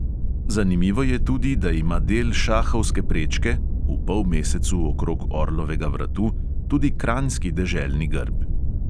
Zanimivo je tudi, da ima del šahovske prečke (v polmesecu okrog orlovega vratu) tudi kranjski deželni grb.